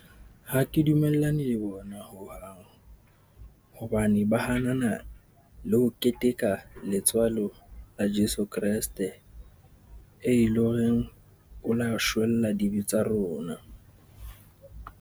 Ha ke dumellane le bona ho hang, hobane ba hana na le ho keteka letswalo la Jeso Kreste, e leng horeng o la shwella dibe tsa rona.